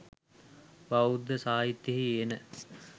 බෞද්ධ සාහිත්‍යයෙහි එන